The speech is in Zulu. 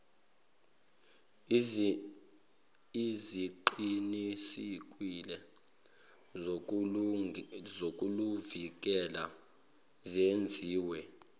eziqinisekile zokuluvikela zenziwe